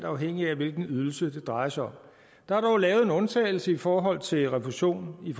afhængigt af hvilken ydelse det drejer sig om der er dog lavet en undtagelse i forhold til refusion i